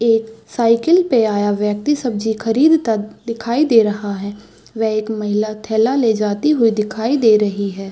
एक साइकिल पे आया व्यक्ति सब्जी खरीदता दिखाई दे रहा है व एक महिला थैला ले जाती हुई दिखाई दे रही है।